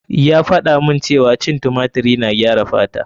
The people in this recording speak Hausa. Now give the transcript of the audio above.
Ya faɗa mun cewa cin tumatiri na gyara fata.